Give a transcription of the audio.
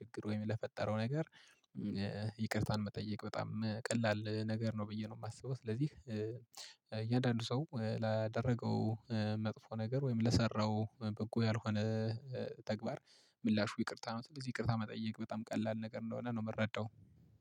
ችግር ወይም ለፈጠረው ነገር ይቅርታን መጠየቅ በጣም ቀላል ነገር ነው ብዬ ነው የማስበው። ስለዚህ እያንዳንዱ ሰው ላደረገው መጥፎ ነገር ወይም ለሰራው በጎ ያልሆነ ተግባር ምላሹ ይቅርታ ነው። ስለዚህ ይቅርታ መጠየቅ በጣም ቀላል ነገር እንደሆነ ነው የምረዳው።